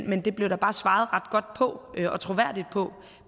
men det blev der bare svaret ret godt og troværdigt på